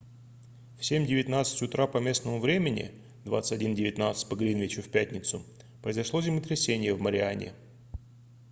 в 07:19 утра по местному времени 21:19 по гринвичу в пятницу произошло землетрясение в мариане